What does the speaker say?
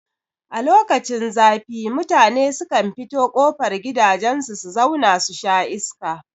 A lokacin zafi mutane sukan fito kofar gidajen su su zau na susha iska